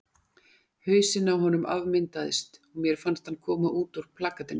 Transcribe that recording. Hausinn á honum afmyndaðist og mér fannst hann koma út úr plakatinu.